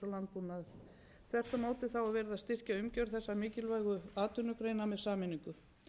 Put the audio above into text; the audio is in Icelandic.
og landbúnaðar þvert á móti er verið að styrkja umgjörð þessara mikilvægt atvinnugreina með sameiningu